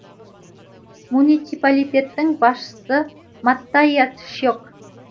муниципалитеттің басшысы маттаиас шек